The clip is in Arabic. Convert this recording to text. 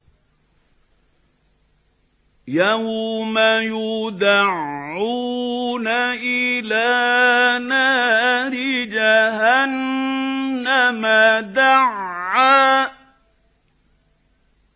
يَوْمَ يُدَعُّونَ إِلَىٰ نَارِ جَهَنَّمَ دَعًّا